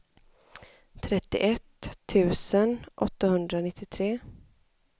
trettioett tusen åttahundranittiotre